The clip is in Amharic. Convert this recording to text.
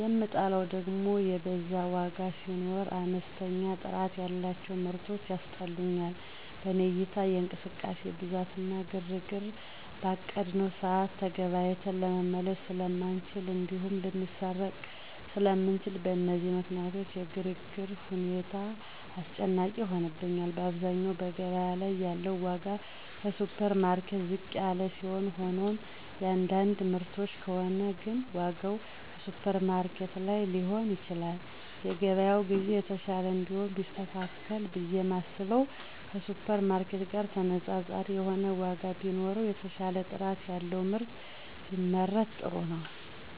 የምጠላው ደግም የበዛ ዋጋ ሲኖር፣ አነስተኛ ጥራት ያላቸው ምርቶች ያስጠሉኛል። በኔ እይታ የእንቅስቃሴ ብዛት እና ግርግር፣ በአቀድነው ሰዓት ተገበያይተን ለመመለስ ስለማንችል እንዲሁም ልንሰረቅ ስለምንችል፣ በእነዚህ ምክንያት የግርግር ሁኔታ አስጨናቂ ይሆንብኛል። በአብዛኛው በገበያ ላይ ያለው ዋጋ ከሱፐርማርኬት ዝቅ ያለ ሲሆን ሆኖም የአንዳንድ ምርቶች ከሆነ ግን ዋጋው ከሱፐርማርኬት በላይ ሊሆን ይችላል። የገበያ ግዢ የተሻለ እንዲሆን ቢስተካከል ብየ የማስበው ከሱፐርማርኬት ጋር ተነፃፃሪ የሆነ ዋጋ ቢኖረው፣ የተሻለ ጥራት ያለው ምርት ቢመረት ጥሩ ነው።